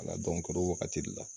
o wagati de la